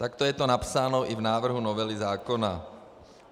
Takto je to napsáno i v návrhu novely zákona.